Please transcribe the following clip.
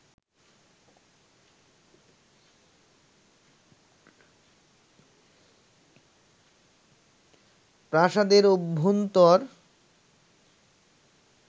প্রাসাদের অভ্যন্তর